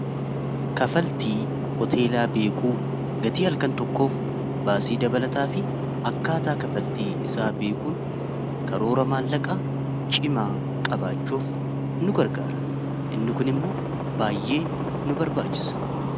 Kaffaltii hoteelaa beekuu gatii halkan tokkoof baasii dabalataa fi akkaataa kafaltii isaa beekuun karoora maallaqaa cimaa qabaachuuf nu gargaara inni kun immoo baay'ee nu barbaachisa.